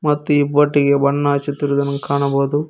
ಮತ್ತು ಈ ಬೋಟಿಗೆ ಬಣ್ಣ ಹಚ್ಚಿತಿರುವುದನ್ನು ಕಾಣಬಹುದು.